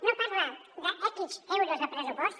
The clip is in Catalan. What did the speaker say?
no parla d’ics euros de pressupost